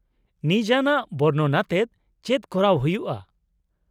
-ᱱᱤᱡᱟᱱᱟᱜ ᱵᱚᱨᱱᱚᱱ ᱟᱛᱮᱫ ᱪᱮᱫ ᱠᱚᱨᱟᱣ ᱦᱩᱭᱩᱜᱼᱟ ?